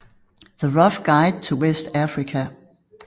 The Rough Guide to West Africa